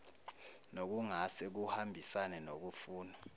nokungase kuhambisane nokufunwa